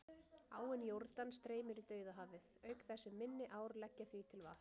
Áin Jórdan streymir í Dauðahafið, auk þess sem minni ár leggja því til vatn.